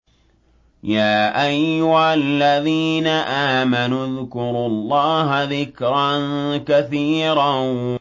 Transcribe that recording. يَا أَيُّهَا الَّذِينَ آمَنُوا اذْكُرُوا اللَّهَ ذِكْرًا كَثِيرًا